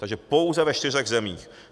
Takže pouze ve čtyřech zemích.